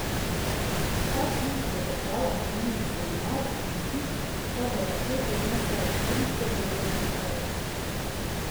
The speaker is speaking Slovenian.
Vsak ključ do portala pomeni seminar in izpit, kar v paketu znese tristo petdeset evrov.